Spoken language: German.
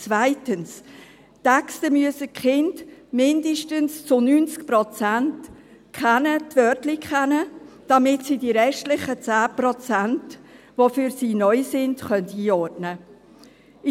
Zweitens: Die Kinder müssen die Texte zu mindestens 90 Prozent kennen, die Wörtlein kennen, damit sie die restlichen 10 Prozent, die für sie neu sind, einordnen können.